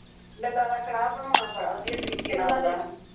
ਗੱਲਾਂ ਦਾ ਕੜਾਹ ਬਣਾਉਣਾ ਬੜਾ ਵਧੀਆ ਤਰੀਕੇ ਨਾਲ ਆਉਦਾ